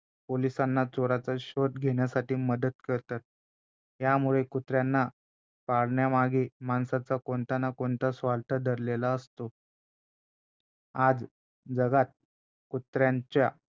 पोलिसांना चोराचा शोध घेण्यासाठी मदत करतात यामुळे कुत्र्यांना पाळण्यामागे माणसाचा कोणता ना कोणता स्वार्थ दडलेला असतो आज जगात कुत्र्यांच्या